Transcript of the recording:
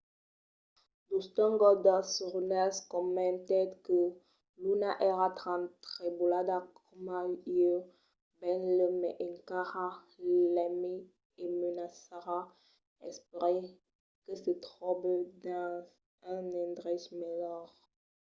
dustin goldust runnels comentèt que luna èra tan trebolada coma ieu... benlèu mai encara... l'aimi e me mancarà ... espèri que se tròbe dins un endrech melhor